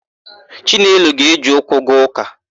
Chinelo ga-eje ụkwụ gaa ụ́kà.